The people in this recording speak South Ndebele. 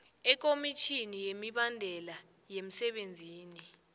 ekomitjhinini yemibandela yemsebenzini